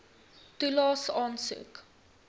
toelaes aansoek